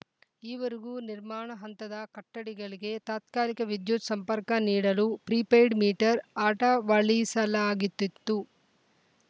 ಈವರೆಗೂ ನಿರ್ಮಾಣ ಹಂತದ ಕಟ್ಟಡಿ ಗಳಿಗೆ ತಾತ್ಕಾಲಿಕ ವಿದ್ಯುತ್‌ ಸಂಪರ್ಕ ನೀಡಲು ಪ್ರಿಪೇಯ್ಡ್‌ ಮೀಟರ್‌ ಅಟ ವಡಿಸಲಾಗಿತ್ತಿತ್ತು